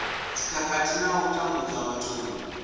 dzikhakhathi na u tambudzwa vhathuni